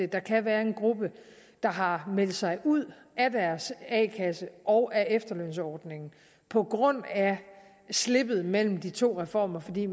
der kan være en gruppe der har meldt sig ud af deres a kasse og af efterlønsordningen på grund af slippet mellem de to reformer fordi